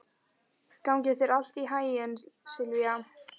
Gangi þér allt í haginn, Silvía.